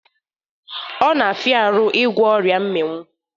Ọ na-afịaru ịgwọ oria mminwụ